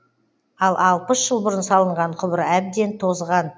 ал алпыс жыл бұрын салынған құбыр әбден тозған